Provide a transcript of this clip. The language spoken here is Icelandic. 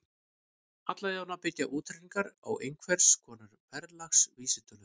Alla jafna byggja útreikningarnir á einhvers konar verðlagsvísitölu.